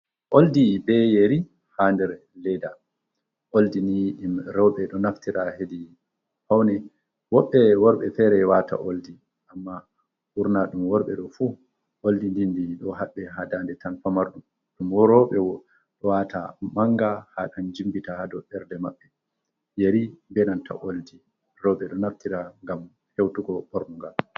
oldi be yeri, ha ɗer leda oldini ɗum rewɓe do naftira hedi faune, wobɓe worɓe fere wata oldi amma ɓurna dum worɓe ɗo fu oldi ɗi ɗi ɗo habbe ha daɗe tan famarɗum, dum roɓe do wata manga ha gam jimbita do berɗe mabɓe yeri be nanta oldi rewɓe do naftira gam hewtugo bornugal.